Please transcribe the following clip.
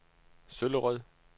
Søllerød